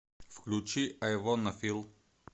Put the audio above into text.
включи ай вонна фил